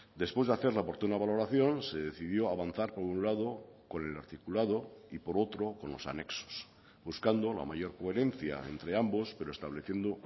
después de hacer la oportuna valoración se decidió avanzar por un lado con el articulado y por otro con los anexos buscando la mayor coherencia entre ambos pero estableciendo